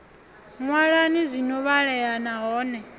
ṅwalani zwi no vhalea nahone